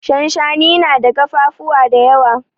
Shanshani na da kafafuwa da yawa.